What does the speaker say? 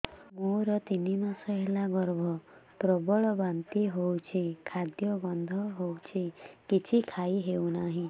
ମୋର ତିନି ମାସ ହେଲା ଗର୍ଭ ପ୍ରବଳ ବାନ୍ତି ହଉଚି ଖାଦ୍ୟ ଗନ୍ଧ ହଉଚି କିଛି ଖାଇ ହଉନାହିଁ